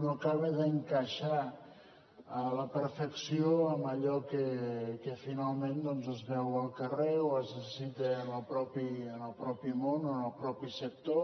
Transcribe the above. no acaba d’encaixar a la perfecció en allò que finalment doncs es veu al carrer o es necessita en el mateix món o en el mateix sector